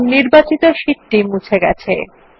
দেখুন নির্বাচিত শীট টি গেছে